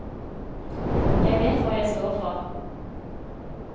Jeg vet hva jeg står for.